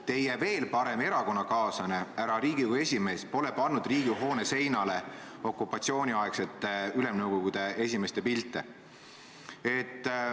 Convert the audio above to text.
Teie veel parem erakonnakaaslane, härra Riigikogu esimees pole pannud Riigikogu hoone seinale okupatsiooniaegsete ülemnõukogude esimeeste pilte.